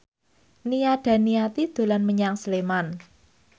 Nia Daniati dolan menyang Sleman